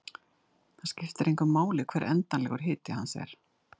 Það skiptir engu máli hver endanlegur hiti hans er.